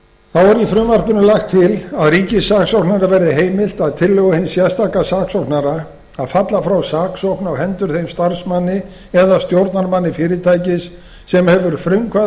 er í frumvarpinu lagt til að ríkissaksóknara verði heimilt að tillögu hins sérstaka saksóknara að falla frá saksókn á hendur þeim starfsmanni eða stjórnarmanni fyrirtækis sem hefur frumkvæði